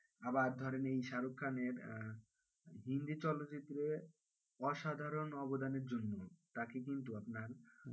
আবার ধরেন এই শাহরুখ খানের আহ হিন্দি চলচ্চিত্রে অসাধারণ অবদানের জন্য তাকে কিন্তু আপনার,